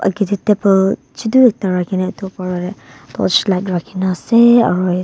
ageh deh table chutu ekta rakhina etu oporla deh torchlight rakhi na aseyyy aro--